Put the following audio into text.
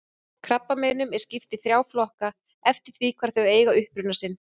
Krabbameinum er skipt í þrjá flokka eftir því hvar þau eiga uppruna sinn.